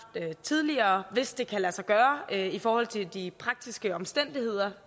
tidligere hvis det kan lade sig gøre i forhold til de praktiske omstændigheder